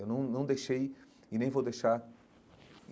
Eu não não deixei e nem vou deixar.